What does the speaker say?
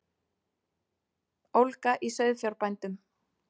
Ólga í sauðfjárbændum